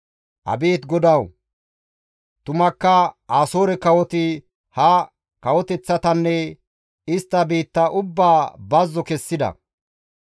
«Abeet GODAWU tumakka, Asoore kawoti ha kawoteththatanne istta biitta ubbaa bazzo kessida.